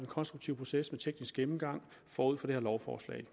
konstruktive proces med teknisk gennemgang forud for det her lovforslag